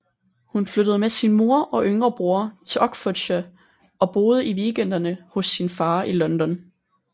Hun flyttede med sin mor og yngre bror til Oxfordshire og boede i weekenderne hos sin far i London